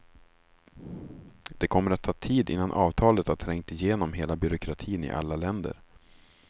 Det kommer att ta tid, innan avtalet har trängt igenom hela byråkratin i alla länder.